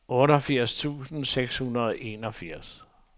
otteogfirs tusind seks hundrede og enogfirs